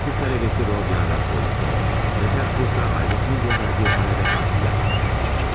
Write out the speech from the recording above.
Hüquq tələbəsi Rodiyan Raskolnikov, Peterburqda ailəsinin göndərdiyi pulla təhsil alan bir gəncdir.